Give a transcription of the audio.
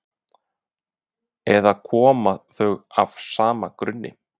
eða koma þau af sama grunni